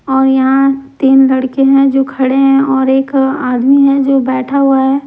और यहाँ तीन लड़के हैं जो खड़े हैं और एक आदमी हैजो बैठा हुआ है।